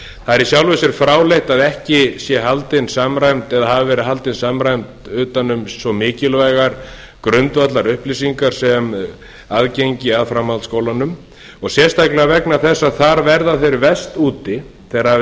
það er í sjálfu sér fráleitt að ekki sé haldin eða hafi verið haldin samræmt utan um svo mikilvægar grundvallarupplýsingar sem aðgengi að framhaldsskólanum og sérstaklega vegna þess að þar verða þeir verst úti þegar